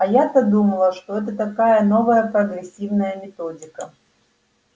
а я-то думала что это такая новая прогрессивная методика